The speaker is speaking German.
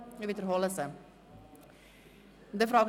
– Dies ist der Fall.